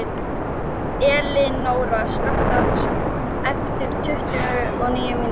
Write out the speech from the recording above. Elinóra, slökktu á þessu eftir tuttugu og níu mínútur.